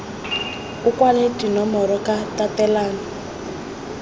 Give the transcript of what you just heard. o kwale dinomoro ka tatelano